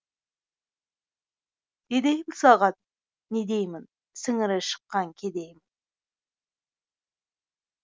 не деймін саған не деймін сіңірі шыққан кедеймін